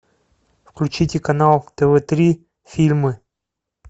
включите канал тв три фильмы